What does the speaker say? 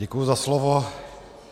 Děkuji za slovo.